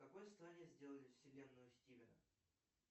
в какой стране сделали вселенную стивена